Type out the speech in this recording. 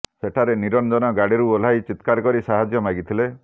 ସେଠାରେ ନିରଞ୍ଜନ ଗାଡ଼ିରୁ ଓହ୍ଲାଇ ଚିତ୍କାର କରି ସାହାଯ୍ୟ ମାଗିଥିଲେ